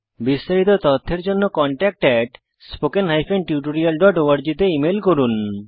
বিস্তারিত তথ্যের জন্য contactspoken tutorialorg তে ইমেল করুন